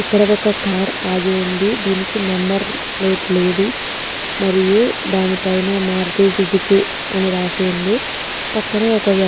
ఇక్కడ ఒక్క కార్ ఆగి ఉంది. దీనికి నెంబర్ ప్లేట్ లేదు మరియు దాని పైన మారుతి సుజుకి అని రాసి ఉంది. పక్కనే ఒక వ్యక్--